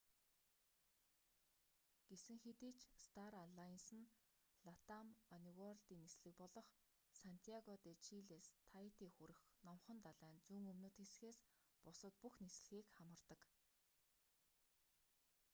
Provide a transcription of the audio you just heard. гэсэн хэдий ч стар алайнсе нь латам онеуорлдын нислэг болох сантьяго де чилээс таити хүрэх номхон далайн зүүн өмнөд хэсгээс бусад бүх нислэгийг хамардаг